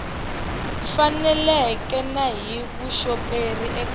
faneleke na hi vuxoperi eka